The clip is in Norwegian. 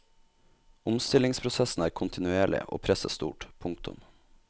Omstillingsprosessen er kontinuerlig og presset stort. punktum